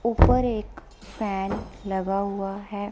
ऊपर एक फैन लगा हुआ है।